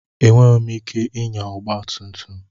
Enweghị m ike ịnya ọgba tum tum.